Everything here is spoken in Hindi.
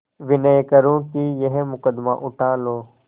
विनय करुँ कि यह मुकदमा उठा लो